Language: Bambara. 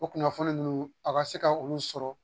O kunnafoni ninnu a ka se ka olu sɔrɔ